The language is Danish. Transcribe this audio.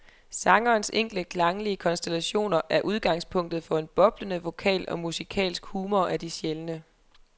Sangerens enkle klanglige konstellationer udgangspunktet for en boblende vokal og musikalsk humor af de sjældne.